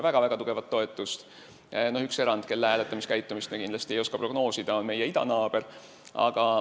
Üks erand, kelle hääletamiskäitumist me kindlasti ei oska prognoosida, on meie idanaaber.